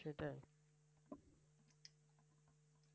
সেটাই।